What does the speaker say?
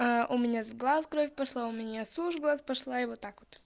у меня из глаз кровь пошла у меня с ушей кровь пошла и вот так вот